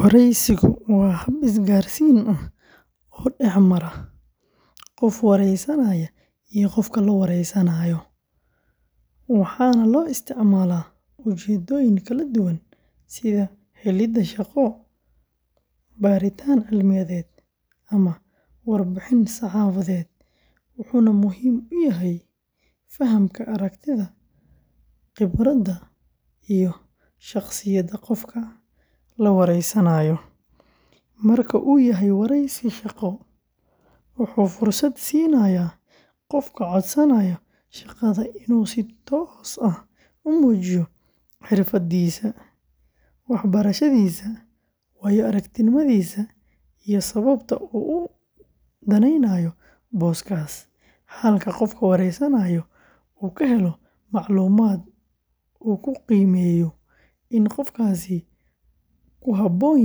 Wareysigu waa hab isgaarsiin rasmi ah oo dhex mara qof waraysanaya iyo qof la wareysanayo, waxaana loo isticmaalaa ujeeddooyin kala duwan sida helidda shaqo, baaritaan cilmiyeed, ama warbixin saxaafadeed, wuxuuna muhiim u yahay fahamka aragtida, khibradda, iyo shakhsiyadda qofka la wareysanayo; marka uu yahay wareysi shaqo, wuxuu fursad siinayaa qofka codsanaya shaqada inuu si toos ah u muujiyo xirfadiisa, waxbarashadiisa, waayo-aragnimadiisa iyo sababta uu u daneynayo booskaas, halka qofka wareysanaya uu ka helo macluumaad uu ku qiimeeyo in qofkaasi ku habboon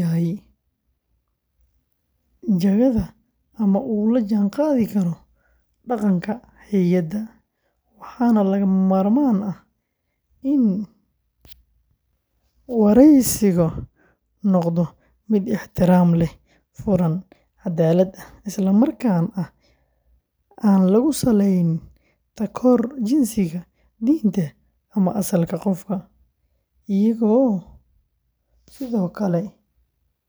yahay jagada ama uu la jaanqaadi karo dhaqanka hay’adda, waxaana lagama maarmaan ah in wareysigu noqdo mid ixtiraam leh, furan, cadaalad ah, islamarkaana aan lagu salayn takoorka jinsiga, diinta, ama asalka qofka, iyadoo sidoo kale muhiim ah.